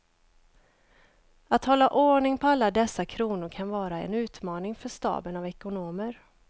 Att hålla ordning på alla dessa kronor kan vara en utmaning för staben av ekonomer.